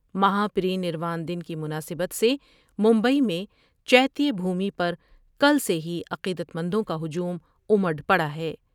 مہا پری نر وان دن کی مناسبت سے ممبئی میں چیتیہ بھومی پرکل سے ہی عقیدتمندوں کا ہجوم امڈ پڑا ہے ۔